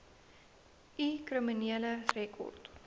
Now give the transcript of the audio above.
u kriminele rekord